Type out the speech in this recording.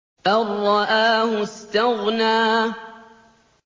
أَن رَّآهُ اسْتَغْنَىٰ